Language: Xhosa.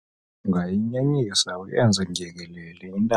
ungayinyenyisa uyenze ndyengelele intambo